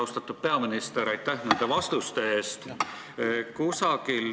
Austatud peaminister, aitäh nende vastuste eest!